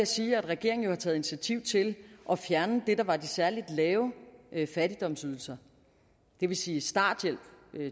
sige at regeringen taget initiativ til at fjerne det der var de særlig lave fattigdomsydelser det vil sige starthjælp